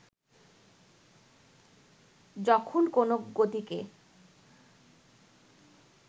যখন কোনো গতিকে